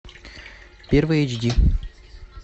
первый эйч ди